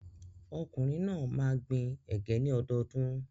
Ọkùnrin náà máa gbin ẹ̀gẹ́ ní ọdọọdún.